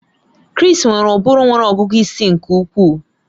Chris nwere ụbụrụ nwere ọgụgụ isi nke ukwuu